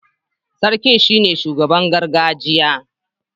Sarki ne shugaban gargajiya